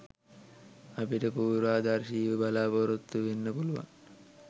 අපිට පූර්වාදර්ශීව බලාපොරොත්තු වෙන්න පුළුවන්